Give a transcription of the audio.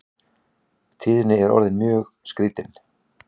Tíðin er orðin svo skrítin.